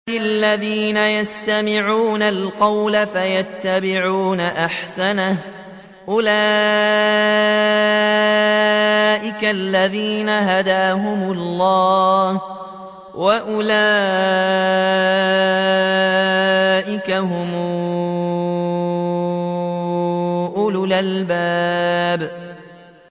الَّذِينَ يَسْتَمِعُونَ الْقَوْلَ فَيَتَّبِعُونَ أَحْسَنَهُ ۚ أُولَٰئِكَ الَّذِينَ هَدَاهُمُ اللَّهُ ۖ وَأُولَٰئِكَ هُمْ أُولُو الْأَلْبَابِ